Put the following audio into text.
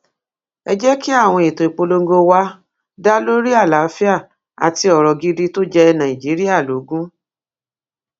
ẹ jẹ kí àwọn ètò ìpolongo wa dá lórí àlàáfíà àti ọrọ gidi tó jẹ nàìjíríà lógún